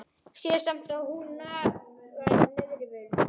Sé samt að hún nagar neðri vörina.